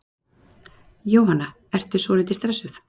Jóhanna: Ertu svolítið stressuð?